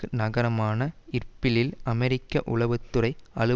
அமெரிக்க உளவு துறை அலுவலகத்தின் வெளிச்சுவர் அருகே